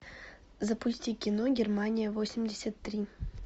запусти кино германия восемьдесят три